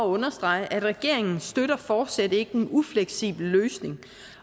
understrege at regeringen fortsat ikke støtter en ufleksibel løsning